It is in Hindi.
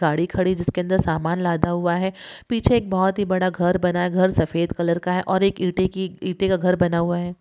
गाड़ी खड़ी जिसके अंदर सामान लाधा हुआ है पीछे एक बहुत ही बड़ा घर बना है| घर सफेद कलर का है और एक ईंटे की ईंटे का घर बना हुआ है।